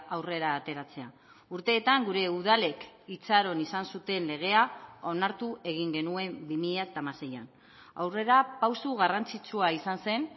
aurrera ateratzea urteetan gure udalek itxaron izan zuten legea onartu egin genuen bi mila hamaseian aurrerapauso garrantzitsua izan zen